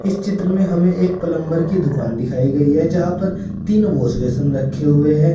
इस चित्र में हमें एक प्लंबर की दुकान दिखाई गई है जहां पर तीन वॉश बेसिन रखे हुए हैं।